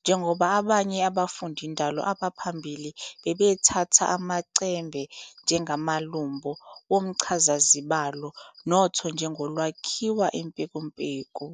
njengoba abanye abafundindalo abaphambili babethatha amachembe njengamalumbo womchazazibalo, notho njengolwakhiwa impekumpeku.